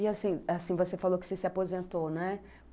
E assim, assim, você falou que você se aposentou, né?